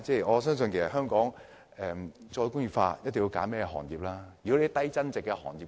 我相信香港要再工業化，一定要仔細挑選一些行業。